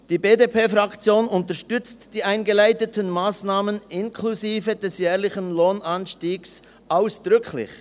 Die BDP-Fraktion unterstützt die eingeleiteten Massnahmen inklusive des jährlichen Lohnanstiegs ausdrücklich.